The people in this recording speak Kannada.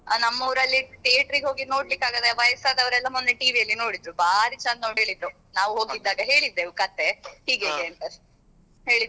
ಹ ನಮ್ಮ ಊರಲ್ಲಿ theater ಗೆ ಹೋಗಿ ನೋಡ್ಲಿಕ್ಕೆ ಆಗದೆ ವಯಸ್ಸಾದವರೆಲ್ಲ ಮೊನ್ನೆ TV ಅಲ್ಲಿ ನೋಡಿದ್ರು ಬಾರಿ ಚಂದ ಉಂಟು ಅಂತ ಹೇಳಿದ್ರು ನಾವ್ ಹೋಗಿದ್ದಾಗ ಹೇಳಿದ್ದೆವು ಕತೆ ಹೀಗ್ ಹೀಗ್ ಅಂತ ಅಷ್ಟೆ ಹೇಳಿದ್ರು.